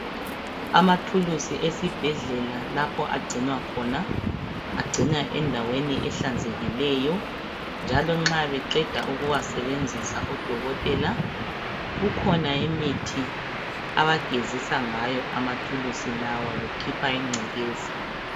amathulusi esibhedlela lapho agcinwa khona agcinwa endaweni ehlanzekileyo njalo nxa beqeda ukuwasebenzisa odokotela kukhona imithi abagezisa ngayo amathulusi lawa bekhipha incekeza